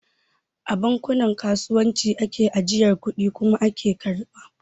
A bankunan kasuwanci ake ajiyar kudi kuma ake karɓa